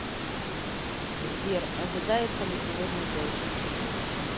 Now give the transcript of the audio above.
сбер ожидается ли сегодня дождь